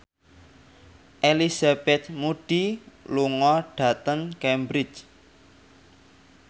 Elizabeth Moody lunga dhateng Cambridge